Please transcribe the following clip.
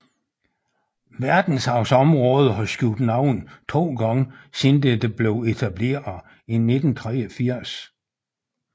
Verdensarvsområdet har skiftet navn to gange siden det blev etableret i 1983